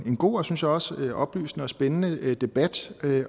en god og synes jeg også oplysende og spændende debat